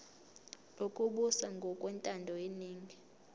lokubusa ngokwentando yeningi